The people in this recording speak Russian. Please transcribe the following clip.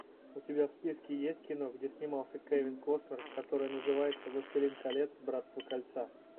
у тебя в списке есть кино где снимался кевин костнер которое называется властелин колец братство кольца